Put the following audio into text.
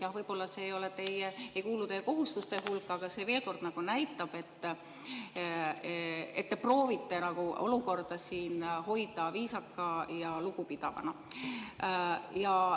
Jah, võib-olla see ei kuulu teie kohustuste hulka, aga see veel kord näitab, et te proovite olukorda siin hoida viisaka ja lugupidavana.